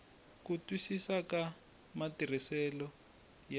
ku twisisa ka matirhisisele ya